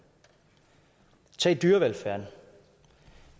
tag dyrevelfærden